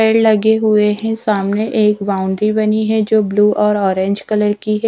पेड़ लगे हुए हैं सामने एक बाउंड्री बनी है जो ब्लू और ऑरेंज कलर की है।